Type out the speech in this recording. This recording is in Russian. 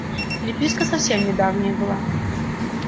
переписка совсем недавняя была